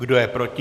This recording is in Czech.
Kdo je proti?